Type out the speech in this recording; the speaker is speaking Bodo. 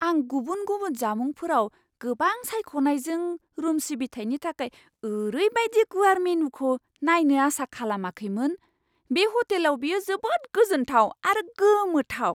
आं गुबुन गुबुन जामुंफोराव गोबां सायख'नायजों रुम सिबिथायनि थाखाय ओरैबायदि गुवार मेनुखौ नायनो आसा खालामाखैमोन। बे ह'टेलाव बेयो जोबोद गोजोनथाव आरो गोमोथाव!